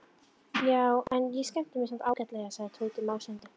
Já, en ég skemmti mér samt ágætlega sagði Tóti másandi.